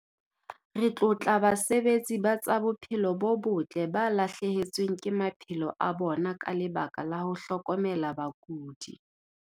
Re tlotla basebetsi ba tsa bophelo bo botle ba lahlehetsweng ke maphelo a bona ka lebaka la ho hlokomela bakudi.